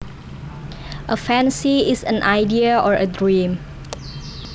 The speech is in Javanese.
A fancy is an idea or a dream